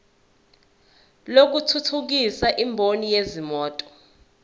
lokuthuthukisa imboni yezimoto